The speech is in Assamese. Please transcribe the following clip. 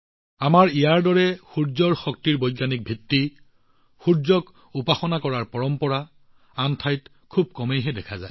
সূৰ্যৰ শক্তি সূৰ্যৰ উপাসনা কৰাৰ পৰম্পৰা সম্পৰ্কে আমাৰ বৈজ্ঞানিক বুজাবুজি আন ঠাইত খুব কম দেখা যায়